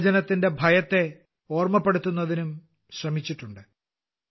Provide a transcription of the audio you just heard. വിഭജനത്തിന്റെ ഭയത്തെ ഓർമ്മപ്പെടുത്തുന്നതിനും ശ്രമിച്ചിട്ടുണ്ട്